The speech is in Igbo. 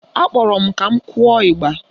Akpọrọ m ka m kụọ ịgba